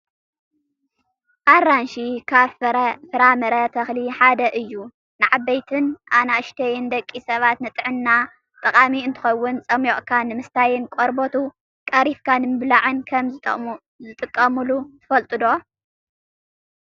ኣራንሺ ካብ ፍራምረ ተክሊ ሓደ እዩ። ንዓበይቲን ኣናእሽትን ደቂ ሰባት ንጥዕና ጠቃሚ እንትከውን፣ ፀሚቅካ ንምስታይን ቆርበቱ ቀሪፍካ ንምብላዕ ከም ዝጥቀሙሉ ትፈልጡ'ዶ ?